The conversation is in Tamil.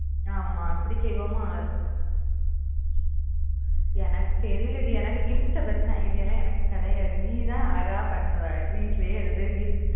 ஆமா அப்பிடி செய்வோமா எனக்கு தெரியல டி எனக்கு gift பத்தின idea லாம் எனக்கு கிடையாது நீ தான் அழகா பண்ணுவ வீட்லயே இருந்து